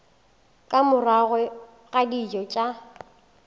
ka morago ga dijo tša